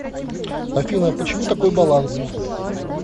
афина почему такой баланс